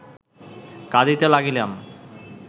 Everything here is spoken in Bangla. কাঁদিতে লাগিলাম